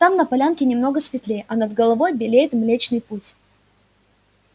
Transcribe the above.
там на полянке немного светлее а над головой белеет млечный путь